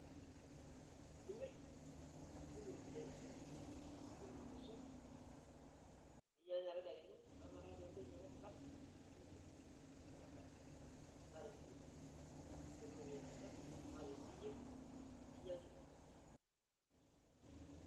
Nimirr nitum iropiyiani nitum irmosorr ninya tedekenya neeku meeta haja pee intoki ainyiang'u emukate ninosie irmosorr ina daa naa tenimirr sii nimiru iropiyiani sidan naa teniyieng' ninya nkirri.